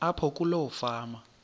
apho kuloo fama